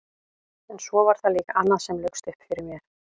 En svo var það líka annað sem laukst upp fyrir mér.